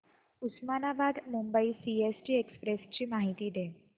Osmanabad Mumbai CST express ची माहिती दे